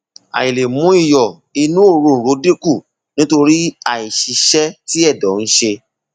àìlè mú iyọ inú òróǹro dínkù nítorí àìṣiṣẹ tí ẹdọ ń ṣe